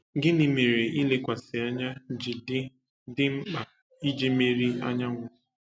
Gịnị mere ilekwasị anya ji dị dị mkpa iji meri anyanwụ?